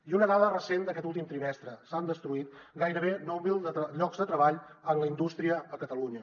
i una dada recent d’aquest últim trimestre s’han destruït gairebé nou mil llocs de treball en la indústria a catalunya